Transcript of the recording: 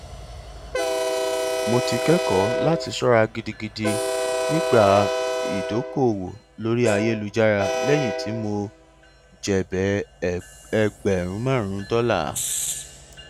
mo ti kọ ẹkọ láti ṣọra gidigidi nígbà ìdókòòwò lórí ayélújára lẹyìn tí mo jèbẹ ẹgbẹrún márùnún dọlà